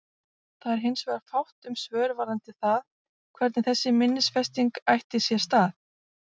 Það var hins vegar fátt um svör varðandi það hvernig þessi minnisfesting ætti sér stað.